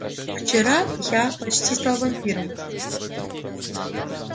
вчера я почти стал вампиром